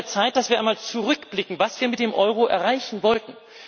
Es ist an der Zeit, dass wir einmal zurückblicken, was wir mit dem Euro erreichen wollten.